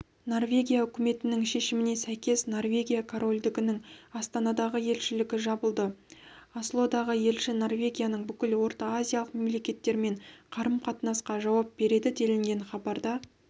норвегия үкіметінің шешіміне сәйкес норвегия корольдігінің астанадағы елшілігі жабылды ослодағы елші норвегияның бүкіл ортаазиялық мемлекеттермен қарым-қатынасқа жауап береді делінген хабарда